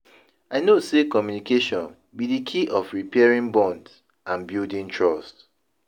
I know say communication be di key of repairing bonds and building trust.